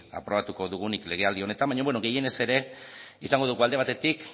aprobatuko dugunik legealdi honetan baina gehienez ere izango dugu alde batetik